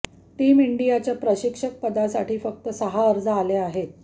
team इंडियाच्या प्रशिक्षकपदासाठी फक्त सहा अर्ज आले आहेत